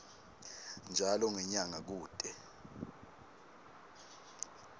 njalo ngenyanga kute